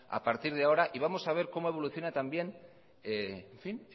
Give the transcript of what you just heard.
a partir de ahora y vamos a ver cómo evoluciona también